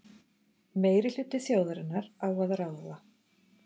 Meirihluti þjóðarinnar á að ráða.